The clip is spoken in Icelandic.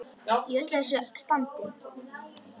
Í öllu þessu standi.